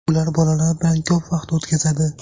Ular bolalar bilan ko‘p vaqt o‘tkazadi.